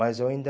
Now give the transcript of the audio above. Mas eu ainda...